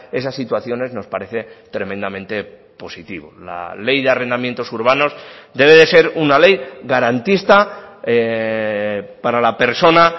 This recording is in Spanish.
esas situaciones nos parece tremendamente positivo la ley de arrendamientos urbanos debe de ser una ley garantista para la persona